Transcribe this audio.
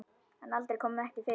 En allt kom fyrir ekki!